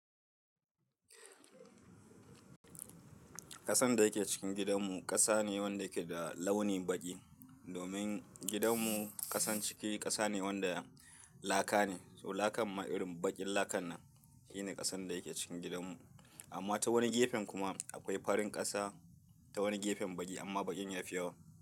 Ƙasan da yake cikin gidanmu ƙasa ne wanda yake da launin baƙi, domin gidanmu ƙasan ciki ƙasa ne wanda laka ne, to lakan ma irin baƙin lakan nan shine ƙasan da yake cikin gidanmu. Amma ta wani gefen kuma akwai farin ƙasa ta wani gefen baƙi amma baƙin yafi yawa.